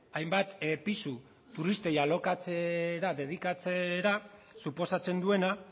hainbat pisu turistei alokatzera dedikatzera suposatzen duena